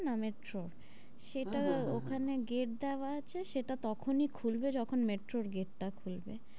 metro ওর হ্যাঁ, হ্যাঁ, হ্যাঁ, হ্যাঁ সেটা ওখানে গেট দেওয়া আছে সেটা তখনি খুলবে যখন metro ওর গেটটা খুলবে।